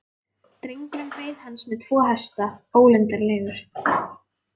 Drengurinn beið hans með tvo hesta, ólundarlegur.